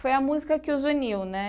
Foi a música que os uniu, né?